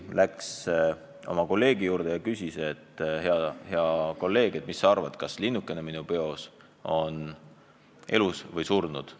Ta läks oma konkurendi juurde ja küsis: "Hea kolleeg, mis sa arvad, kas linnukene minu peos on elus või surnud?